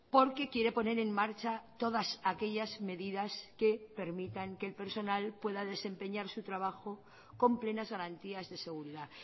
porque quiere poner en marcha todas aquellas medidas que permitan que el personal pueda desempeñar su trabajo con plenas garantías de seguridad